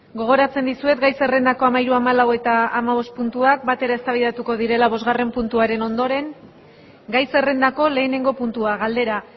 gogorantzen dizuet gai zerrendako amahiru amalu eta amabost puntuak bat ere eztabaidatuko direla bostgarren puntuaren ondoren gai zerrendako lehenengo puntua galdera